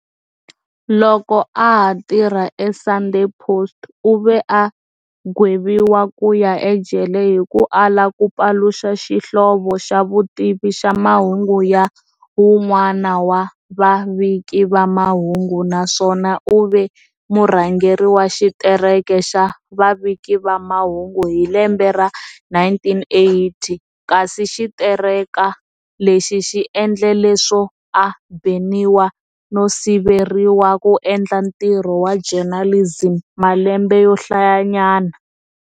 Loko a ha tirha e"Sunday Post", u ve a gweviwa ku ya ejele hi ku ala ku paluxa xihlovo xa vutivi xa mahungu ya wun'wana wa vaviki va mahungu, na swona u ve murhangeri wa xitereka xa vaviki va mahungu hi lembe ra 1980 kasi xitereka lexi xi endle leswo a beniwa no siveriwa ku endla ntirho wa journalism malembe yo hlayanyana.